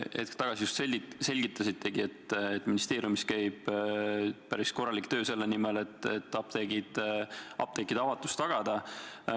Hetk tagasi te just selgitasitegi, et ministeeriumis käib päris korralik töö selle nimel, et apteekide avatus tagada.